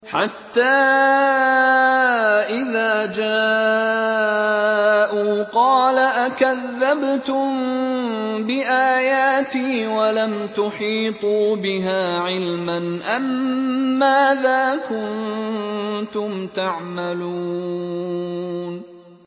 حَتَّىٰ إِذَا جَاءُوا قَالَ أَكَذَّبْتُم بِآيَاتِي وَلَمْ تُحِيطُوا بِهَا عِلْمًا أَمَّاذَا كُنتُمْ تَعْمَلُونَ